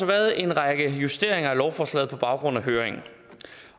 været en række justeringer af lovforslaget på baggrund af høringen